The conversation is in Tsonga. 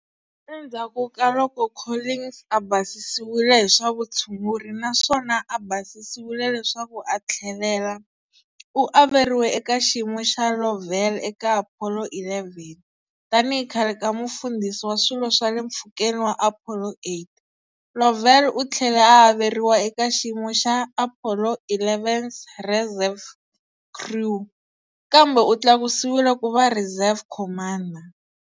Endzhaku ka loko Collins a basisiwile hi swa vutshunguri naswona a basisiwile leswaku a tlhelela, u averiwe eka xiyimo xa Lovell eka Apollo 11, Tanihi khale ka mufambisi wa swilo swa le mpfhukeni wa Apollo 8, Lovell u tlhele a averiwa eka xiyimo xa Apollo 11's reserve crew, kambe u tlakusiwile ku va Reserve Commander.